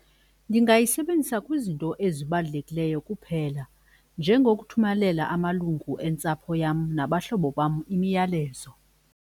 Ndingayisebenzisa kwizinto ezibalulekileyo kuphela njengokuthumelela amalungu entsapho yam nabahlobo bam imiyalezo.